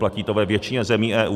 Platí to ve většině zemí EU.